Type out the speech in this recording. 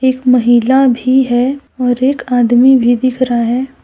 एक महिला भी है और एक आदमी भी दिख रहा है।